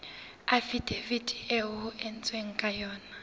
afidaviti eo ho entsweng kano